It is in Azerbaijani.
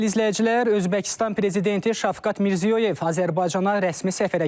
Dəyərli izləyicilər, Özbəkistan prezidenti Şavqat Mirziyoyev Azərbaycana rəsmi səfərə gəlib.